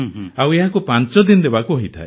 ଆଉ ଏହାକୁ ପାଂଚଦିନ ଦେବାକୁ ହୋଇଥାଏ